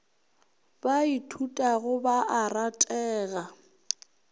ba ithutago ba a ratega